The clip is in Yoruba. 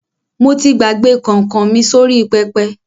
Mo ti gbàgbé kọ̀nkọ̀ mi sórí pẹpẹ.